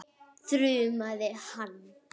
þrumaði hann.